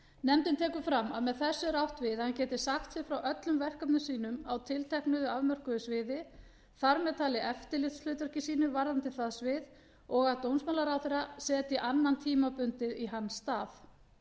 nefndin tekur fram að með þessu er átt við að hann geti sagt sig frá öllum verkefnum sínum á tilteknu afmörkuðu sviði þar með talin eftirlitshlutverki sínu varðandi það svið og að dómsmálaráðherra setji annan tímabundið í hans stað